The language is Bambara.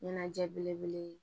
Ɲɛnajɛ belebele ye